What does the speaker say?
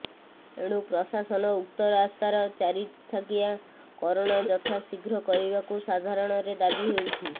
ଏଣୁ ପ୍ରଶାସନ ଉକ୍ତ ରାସ୍ତାର ଚାରିଥାକିଆ କରଣ ଯଥାଶୀଘ୍ର କରିବାକୁ ସାଧାରଣରେ ଦାବି ହେଉଛି